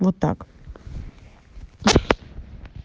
вот так